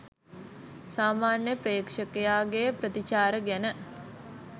සාමාන්‍ය ප්‍රේක්ෂකයාගේ ප්‍රතිචාර ගැන